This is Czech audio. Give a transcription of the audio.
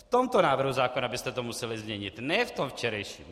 V tomto návrhu zákona byste to museli změnit, ne v tom včerejším.